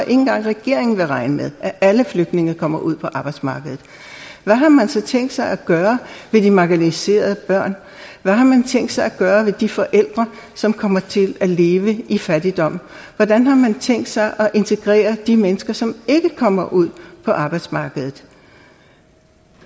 engang regeringen vil regne med at alle flygtninge kommer ud på arbejdsmarkedet hvad har man så tænkt sig at gøre ved de marginaliserede børn hvad har man tænkt sig at gøre ved de forældre som kommer til at leve i fattigdom hvordan har man tænkt sig at integrere de mennesker som ikke kommer ud på arbejdsmarkedet